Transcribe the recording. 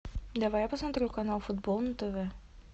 давай я посмотрю канал футбол на тв